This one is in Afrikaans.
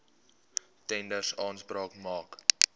tenders aanspraak maak